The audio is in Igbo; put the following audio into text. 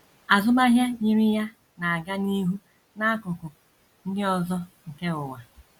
Azụmahịa yiri ya na - aga n’ihu n’akụkụ ndị ọzọ nke ụwa.